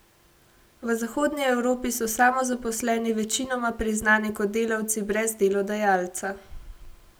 V Zahodni Evropi so samozaposleni večinoma priznani kot delavci brez delodajalca.